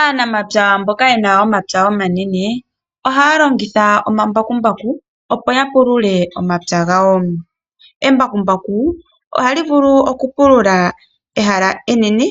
Aanamapya mboka ye na omapya omanene, ohaya longitha omambakumbaku opo ya pulule omapya gawo. Embakumbaku ohali vulu okupulula ehala enene